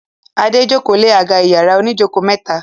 Ade ń joko lẹ àga iyàrá òní joko mẹta.